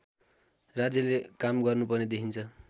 राज्यले काम गर्नुपर्ने देखिन्छ